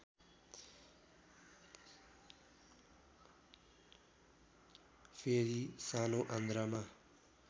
फेरि सानो आन्द्रामा